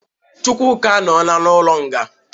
Chukwuka anọla n'ụlọ nga.